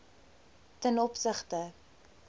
ten opsigte